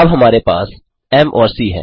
अब हमारे पास एम और सी है